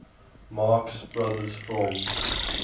marx brothers films